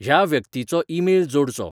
ह्या व्यक्तीचो ईमेल जोडचो